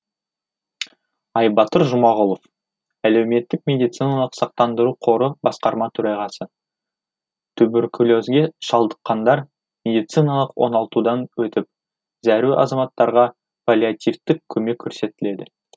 айбатыр жұмағұлов әлеуметтік медициналық сақтандыру қоры басқарма төрағасы туберкулезге шалдыққандар медициналық оңалтудан өтіп зәру азаматтарға паллиативтік көмек көрсетіледі